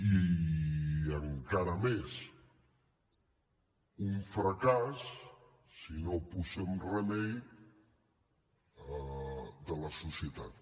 i encara més un fracàs si no hi posem remei de la societat